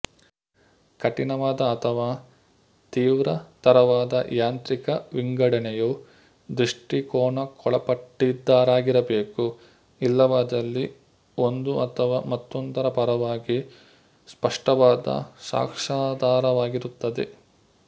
ಕಠಿಣವಾದ ಅಥವಾ ತೀವ್ರತರವಾದ ಯಾಂತ್ರಿಕ ವಿಂಗಡಣೆಯು ದೃಷ್ಟಿಕೋನಕ್ಕೊಳಪಟ್ಟಿದ್ದಾಗಿರಬೇಕು ಇಲ್ಲವಾದಲ್ಲಿ ಒಂದು ಅಥವಾ ಮತ್ತೊಂದರ ಪರವಾಗಿ ಸ್ಪಷ್ಟವಾದ ಸಾಕ್ಷಾಧಾರವಾಗಿರುತ್ತದೆ